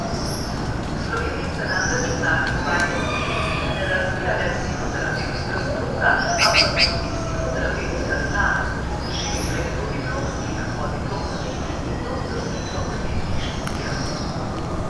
V Sloveniji se namreč v zadnjih dvajsetih letih ne razvija le psihoterapevtska stroka, ampak tudi psihoterapevtska znanost, ki se širi prek dodiplomskih, podiplomskih in doktorskih fakultetnih študijev.